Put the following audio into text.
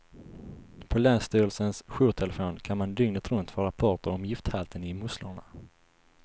På länsstyrelsens jourtelefon kan man dygnet runt få rapporter om gifthalten i musslorna.